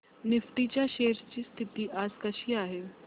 Nifty च्या shares ची स्थिती आज कशी आहे